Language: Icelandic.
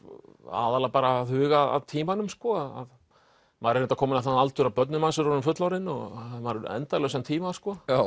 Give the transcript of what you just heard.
aðallega bara að huga að tímanum maður er reyndar kominn á þann aldur að börnin manns eru orðin fullorðin og maður hefur endalausan tíma